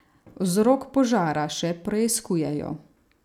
Vzrok požara še preiskujejo.